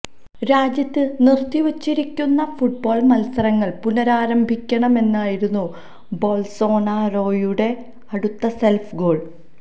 രാജ്യത്ത് നിർത്തിവച്ചിരിക്കുന്ന ഫുട്ബോൾ മൽസരങ്ങൾ പുനരാരംഭിക്കണമെന്നായിരുന്നു ബോൾസോനാരോയുടെ അടുത്ത സെൽഫ് ഗോൾ